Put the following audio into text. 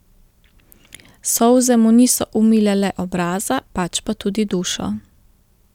Solze mu niso umile le obraza, pač pa tudi dušo.